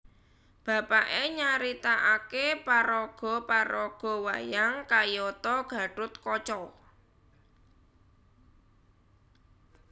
Bapaké nyaritakaké paraga paraga wayang kayata Gatot Kaca